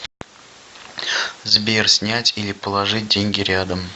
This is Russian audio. сбер снять или положить деньги рядом